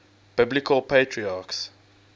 biblical patriarchs